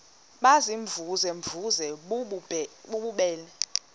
baziimvuze mvuze bububele